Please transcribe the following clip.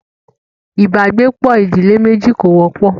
ibàgbepọ̀ ìdílé méjì kò wọ́pọ̀.